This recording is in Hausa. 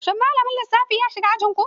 Shin malamin lissafi ya shigo ajin ku?